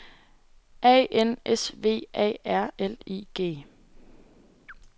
A N S V A R L I G